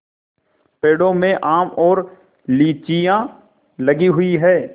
पेड़ों में आम और लीचियाँ लगी हुई हैं